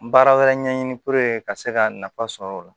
Baara wɛrɛ ɲɛɲini ka se ka nafa sɔrɔ o la